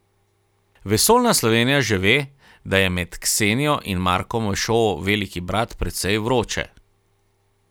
Vesoljna Slovenija že ve, da je med Ksenijo in Markom v šovu Veliki brat precej vroče.